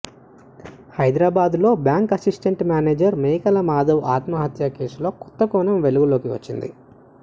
హైదరాబాద్లో bank assistant manager Mekala Madhav ఆత్మహత్య కేసులో కొత్తకోణం వెలుగులోకి వచ్చింది